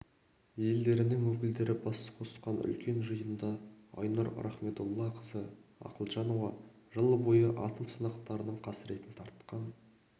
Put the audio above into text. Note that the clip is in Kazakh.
елдерінің өкілдері бас қосқан үлкен жиынында айнұр рахмедоллақызы ақылжанова жыл бойы атом сынақтарының қасіретін тартқан